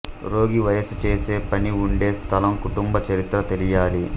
రోగి వయస్సు చేసే పని ఉండే స్థలం కుటుంబ చరిత్ర తెలియాలి